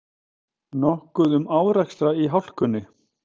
Nokkuð um árekstra í hálkunni